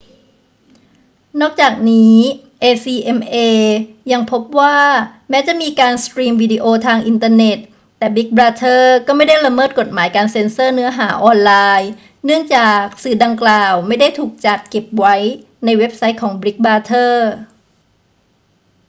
นอกจากนี้ acma ยังพบว่าแม้จะมีการสตรีมวิดีโอทางอินเทอร์เน็ต แต่บิกบราเธอร์ก็ไม่ได้ละเมิดกฎหมายการเซ็นเซอร์เนื้อหาออนไลน์ เนื่องจากสื่อดังกล่าวไม่ได้ถูกจัดเก็บไว้ในเว็บไซต์ของบิกบราเธอร์